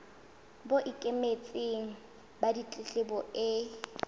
bo ikemetseng ba ditletlebo e